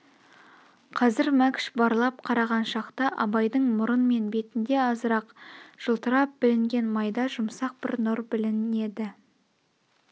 қазір мәкш барлап қараған шақта абайдың мұрын мен бетінде азырақ жылтырап білінген майда жұмсақ бір нұр білнеді